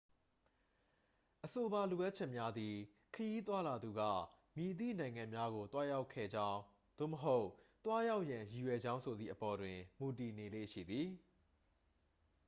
အဆိုပါလိုအပ်ချက်များသည် ခရီးသွားလာသူက မည်သည့်နိုင်ငံများကို သွားရောက်ခဲ့ကြောင်း သို့မဟုတ် သွားရောက်ရန် ရည်ရွယ်ကြောင်းဆိုသည့်အပေါ် တွင် မူတည်နေလေ့ရှိသည်